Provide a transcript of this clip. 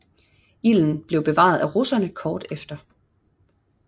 Ilden blev bevaret af russerne kort efter